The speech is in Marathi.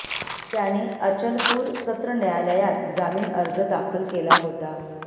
त्याने अचलपूर सत्र न्यायालयात जामीन अर्ज दाखल केला होता